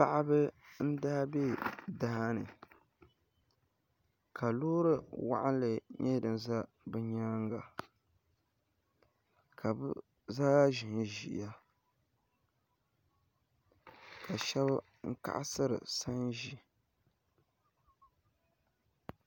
Paɣaba n daa bɛ daani ka loori waɣanli ʒɛ bi nyaanga ka bi zaa ʒinʒiya ka shab kaɣasiri sanʒi